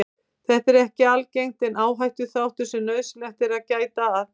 Þetta er ekki algengt en áhættuþáttur sem nauðsynlegt er að gæta að.